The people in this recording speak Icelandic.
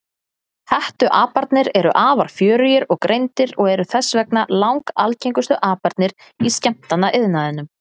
Hettuaparnir eru afar fjörugir og greindir og eru þess vegna langalgengustu aparnir í skemmtanaiðnaðinum.